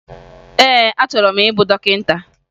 Ee, achọrọ m ịbụ dọkịta